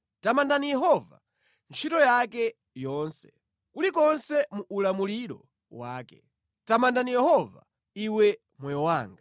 Tamandani Yehova, ntchito yake yonse kulikonse mu ulamuliro wake. Tamanda Yehova, iwe moyo wanga.